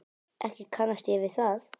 Ekki kannast ég við það.